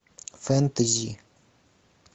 фэнтези